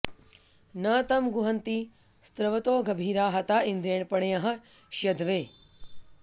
न तं गूहन्ति स्रवतो गभीरा हता इन्द्रेण पणयः शयध्वे